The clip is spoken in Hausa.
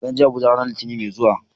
Zan je Abuja ranar Litinin mai zuwa.